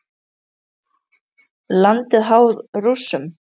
Landið háð Rússum?